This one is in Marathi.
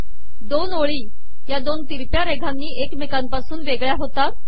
दोन ओळी या दोन ितरकया रेघानी एकमेकापासून वेगळया होतात